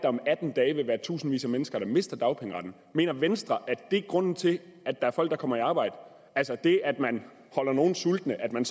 om atten dage vil være tusindvis af mennesker der mister dagpengeretten mener venstre at det er grunden til at der er folk der kommer i arbejde altså at det at man holder nogle sultende at man